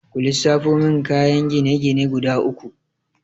Ku lissafo min kayan gine-gine guda uku?